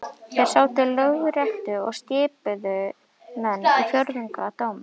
Þar sátu þeir í Lögréttu og skipuðu menn í fjórðungsdóma.